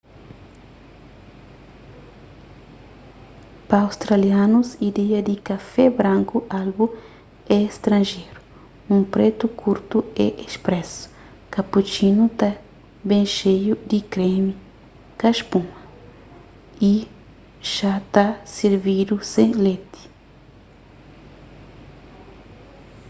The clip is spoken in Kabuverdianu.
pa australianus ideia di kafé branku albu” é stranjeru. un pretu kurtu é espresso” cappuccino ta ben xeiu di kremi ka spuma y xá ta sirvidu sen leti